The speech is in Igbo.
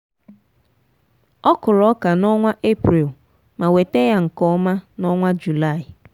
ọ kụrụ ọka n’onwa eprel ma weta ya nke ọma n'onwa juli.